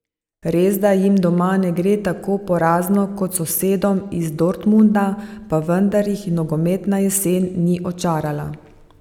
Resda jim doma ne gre tako porazno kot sosedom iz Dortmunda, pa vendar jih nogometna jesen ni očarala.